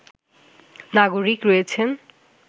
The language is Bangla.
নাগরিক রয়েছেন